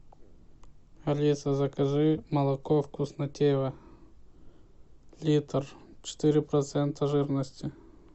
алиса закажи молоко вкуснотеево литр четыре процента жирности